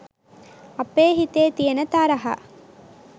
අපේ හිතේ තියෙන තරහා.